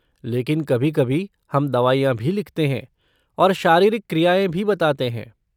लेकिन कभी कभी हम दवाइयाँ भी लिखते हैं और शारीरिक क्रियाएँ भी बताते हैं।